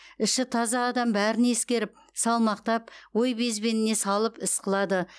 іші таза адам бәрін ескеріп салмақтап ой безбеніне салып іс қылады